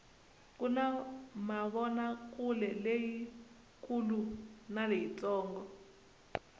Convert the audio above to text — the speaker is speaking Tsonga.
kuna mavonakuleleyi kulu na leyi ntsongo